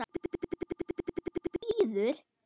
Þulur: En gróðinn býður?